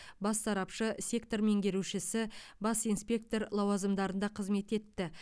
бас сарапшы сектор меңгерушісі бас инспектор лауазымдарында қызмет етті